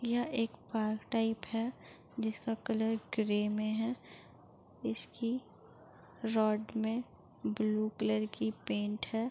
यह एक park type है जिसका कलर ग्रे में है। इसकी रॉड में ब्लू कलर की पेंट है।